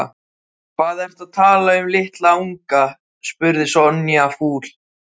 Hvað ertu að tala um litla unga? spurði Sonja fúl.